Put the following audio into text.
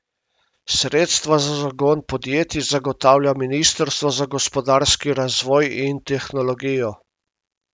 Sredstva za zagon podjetij zagotavlja ministrstvo za gospodarski razvoj in tehnologijo.